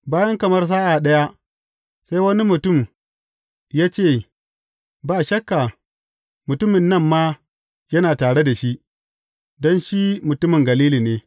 Bayan kamar sa’a ɗaya, sai wani mutum ya ce, Ba shakka, mutumin nan ma yana tare da shi, don shi mutumin Galili ne.